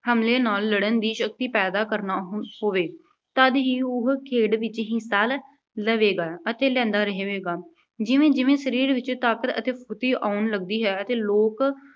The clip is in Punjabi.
ਹਮਲੇ ਨਾਲ ਲੜਨ ਦੀ ਸ਼ਕਤੀ ਪੈਦਾ ਕਰਨਾ ਹੋ ਅਹ ਹੋਵੇ। ਤਦ ਹੀ ਉਹ ਖੇਡ ਵਿੱਚ ਹਿੱਸਾ ਅਹ ਲਵੇਗਾ ਅਤੇ ਲੈਂਦਾ ਰਹੇਗਾ। ਜਿਵੇਂ ਜਿਵੇਂ ਸਰੀਰ ਵਿੱਚ ਤਾਕਤ ਅਤੇ ਫੁਰਤੀ ਆਉਣ ਲੱਗਦੀ ਹੈ ਅਤੇ ਲੋਕ